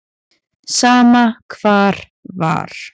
Sama hvar var.